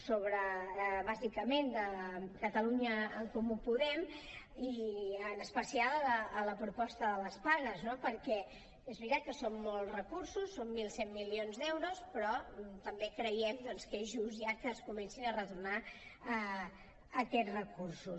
sobre bàsicament de catalunya en comú podem i en especial a la proposta de les pagues no perquè és veritat que són molts recursos són mil cent milions d’euros però també creiem doncs que és just ja que es comencin a retornar aquests recursos